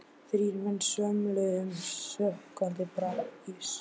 Þrír menn svömluðu um í sökkvandi brakinu.